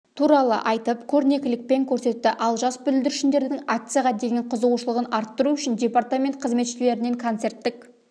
туралы айтып көрнелікпен көрсетті ал жас бүлдіршіндердің акцияға деген қызығушылығын арттыру үшін департамент қызметшілерінен концерттік